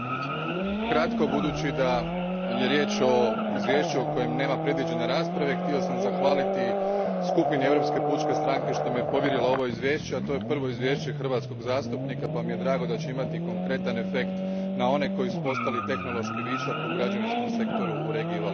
Kratko, budući da je riječ o izvješću za koje nema predviđene rasprave, htio sam zahvaliti skupini Europske pučke stranke što mi je povjerila ovo izvješće, a to je prvo izvješće hrvatskog zastupnika pa mi je stoga drago što će ono imati konkretan efekt na one koji su postali tehnološki višak u građevinskom sektoru u regiji Valencija.